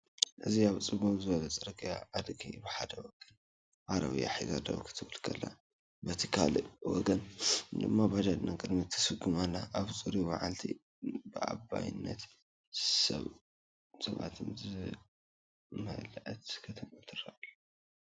እዚ ኣብ ጽምው ዝበለ ጽርግያ፡ ኣድጊ ብሓደ ወገን ዓረብያ ሒዛ ደው ክትብል ከላ፡ በቲ ካልእ ወገን ድማ ባጃጅ ንቕድሚት ትስጉም ኣላ። ኣብ ጽሩይ መዓልቲ፡ ብኣባይትን ሰባትን ዝመልአት ከተማ ትረአ ኣላ።